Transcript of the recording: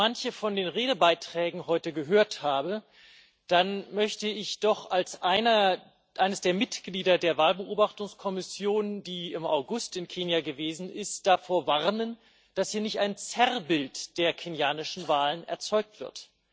Wenn ich manche von den Redebeiträgen heute gehört habe, dann möchte ich doch als eines der Mitglieder der Wahlbeobachtungskommission, die im August in Kenia gewesen ist, davor warnen, dass hier nicht ein Zerrbild der kenianischen Wahlen erzeugt wird.